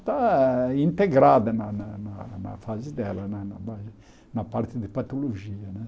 está integrada na na na na fase dela, na na na parte de patologia né.